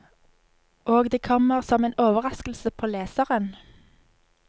Og det kommer som en overraskelse på leseren.